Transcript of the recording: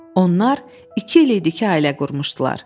Onlar iki il idi ki, ailə qurmuşdular.